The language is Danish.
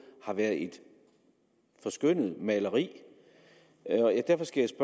har været et forskønnet maleri derfor skal